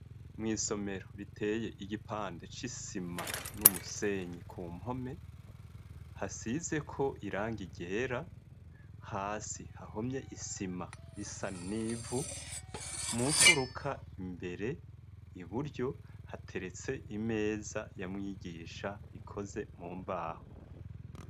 Mw'isomero riteye igipande c'isima n'umusenyi ku mpome hasize ko irangi ryera hasi hahomye isima isa 'nivu mu mfuruka imbere iburyo hateretse imeza ya mwigisha ikoze mu mbaho.